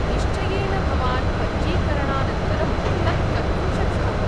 निश्चयेन, भवान् पञ्जीकरणानन्तरं तत् कर्तुं शक्नोति।